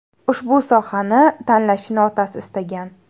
Ushbu sohani tanlashini otasi istagan.